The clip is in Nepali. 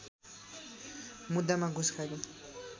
मुद्दामा घुस खाएको